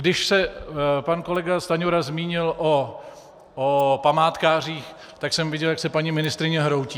Když se pan kolega Stanjura zmínil o památkářích, tak jsem viděl, jak se paní ministryně hroutí.